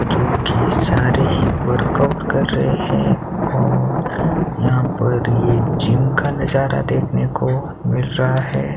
जो कि सारे ही वर्कआउट कर रहे हैं और यहां पर ये जिम का नजारा देखने को मिल रहा है।